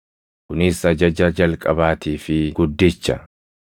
Kunis ajaja jalqabaatii fi guddicha.